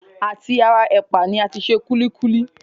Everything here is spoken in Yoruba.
À ti ara ẹ̀pà ni a ti se kúlíkúlí